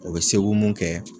O be mun kɛ